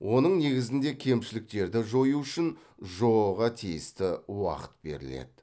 оның негізінде кемшіліктерді жою үшін жоо ға тиісті уақыт беріледі